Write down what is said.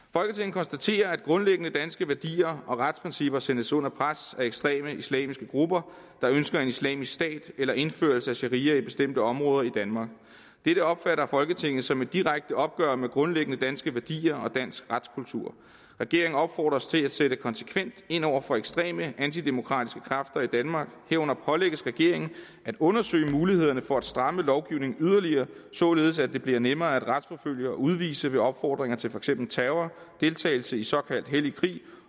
konstaterer at grundlæggende danske værdier og retsprincipper sættes under pres af ekstreme islamiske grupper der ønsker en islamisk stat eller indførelse af sharia i bestemte områder i danmark dette opfatter folketinget som et direkte opgør med grundlæggende danske værdier og dansk retskultur regeringen opfordres til at sætte konsekvent ind over for ekstreme antidemokratiske kræfter i danmark herunder pålægges regeringen at undersøge mulighederne for at stramme lovgivningen yderligere således at det bliver nemmere at retsforfølge og udvise ved opfordringer til for eksempel terror deltagelse i såkaldt hellig krig